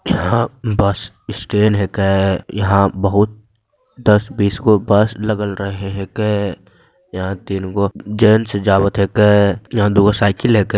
यहाँ bus stand हैके | यहाँ बहुत दस बीस गो बस लगल रहे हैके | यहाँ तीन गो जेंट्स जावत हैके | यहाँ दू गो सायकल हैके |